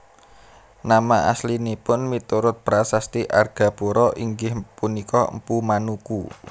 Nama aslinipun miturut prasasti Argapura inggih punika Mpu Manuku